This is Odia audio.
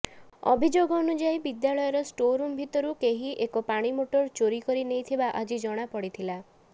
ଅଭିଯୋଗ ଅନୁଯାଇ ବିଦ୍ୟାଳୟର ଷ୍ଟୋରରୁମ ଭିତରୁ କେହି ଏକ ପାଣି ମୋଟର ଚୋରକରି ନେଇଥିବା ଆଜି ଜଣାପଡିଥିଲା